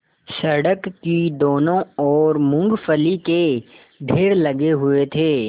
सड़क की दोनों ओर मूँगफली के ढेर लगे हुए थे